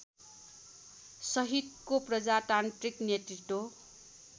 सहितको प्रजातान्त्रिक नेतृत्व